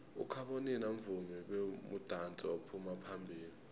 ukhabonino mvumi bemudansi ophuma phambilo